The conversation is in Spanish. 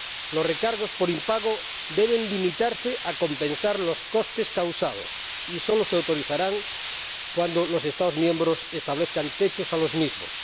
Los recargos por impago deben limitarse a compensar los costes causados y solo se autorizarán cuando los Estados miembros establezcan techos a los mismos.